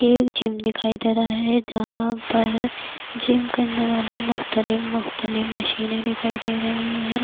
ایک جم دکھائی دے رہا ہے جہاں پر جم کرنے والی مختلف مختلف مشینیں دکھائی دے رہی ہیں-